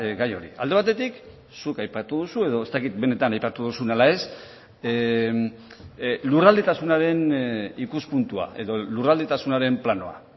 gai hori alde batetik zuk aipatu duzu edo ez dakit benetan aipatu duzun ala ez lurraldetasunaren ikuspuntua edo lurraldetasunaren planoa